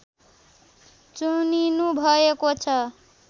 चुनिनुभएको छ